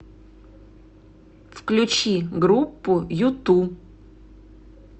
включи группу юту